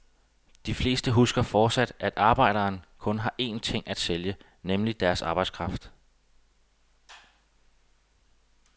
De fleste husker fortsat, at arbejderen kun har en ting at sælge, nemlig deres arbejdskraft.